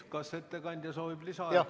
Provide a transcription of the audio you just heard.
Kas ettekandja soovib lisaaega?